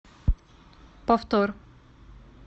повтор